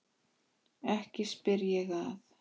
Ekki spyr ég að.